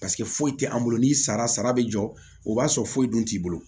Paseke foyi tɛ an bolo ni sara sara bɛ jɔ o b'a sɔrɔ foyi dun t'i bolo